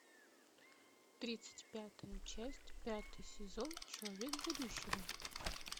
тридцать пятая часть пятый сезон человек будущего